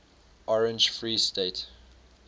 orange free state